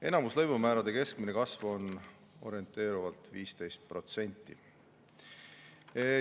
Enamiku lõivumäärade keskmine kasv on orienteeruvalt 15%.